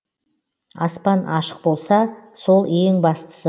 аспан ашық болса сол ең бастысы